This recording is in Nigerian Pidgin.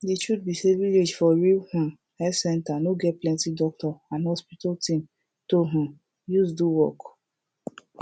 de truth be say village for real um health center no get plenti doctor and hospital thing to um use do work